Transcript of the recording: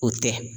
O tɛ